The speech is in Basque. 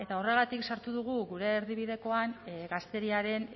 horregatik sartu dugu gure erdibidekoan gazteriaren